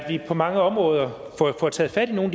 vi på mange områder får taget fat i nogle